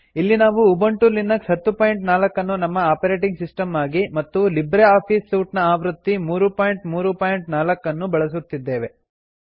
ಇಲ್ಲಿ ನಾವು Ubuntu Linux 1004ನ್ನು ನಮ್ಮ ಆಪರೆಟಿಂಗ್ ಸಿಸ್ಟಂ ಆಗಿ ಮತ್ತು ಲಿಬ್ರೆ ಆಫೀಸ್ ಸೂಟ್ ನ ಆವೃತ್ತಿ 334 ಅನ್ನು ಬಳಸುತ್ತಿದ್ದೇವೆ